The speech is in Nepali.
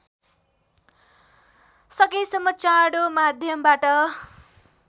सकेसम्म चाँडो माध्यमबाट